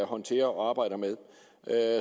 håndterer og arbejder med